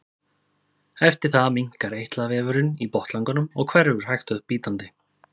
eftir það minnkar eitlavefurinn í botnlanganum og hverfur hægt og bítandi